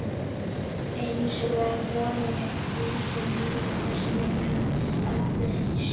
einsog vonin, einsog lífið- þessi mikla eftirsjá.